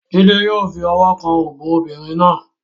Jide yó fi ọwọ́ kan òbò obìnrin náà.